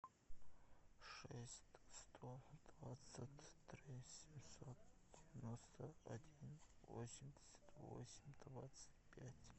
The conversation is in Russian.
шесть сто двадцать три семьсот девяносто один восемьдесят восемь двадцать пять